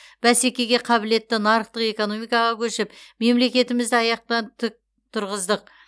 бәсекеге қабілетті нарықтық экономикаға көшіп мемлекетімізді аяқтан тік тұрғыздық